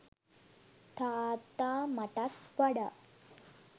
තාත්තා මටත් වඩා